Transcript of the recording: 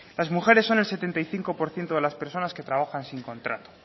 las mujeres son el setenta y cinco por ciento de las personas que trabajan sin contrato